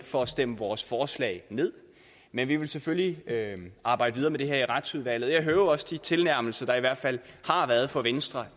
for at stemme vores forslag ned men vi vil selvfølgelig arbejde videre med det her i retsudvalget og jeg hører jo også de tilnærmelser der i hvert fald har været fra venstre